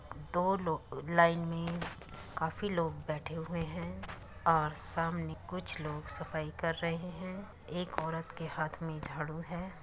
दो लोग लाइन में काफी लोग बैठे हुए है और सामने कुछ लोग सफाई कर रहे है | एक औरत के हाथ में झाडू है |